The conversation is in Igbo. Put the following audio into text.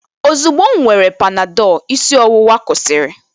ozugbo m were Panadol, isi ọwụwa kwụsịrị